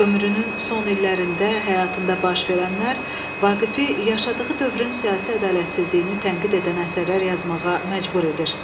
Ömrünün son illərində həyatında baş verənlər Vaqifi yaşadığı dövrün siyasi ədalətsizliyini tənqid edən əsərlər yazmağa məcbur edir.